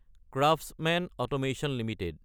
craftsmen automation Ltd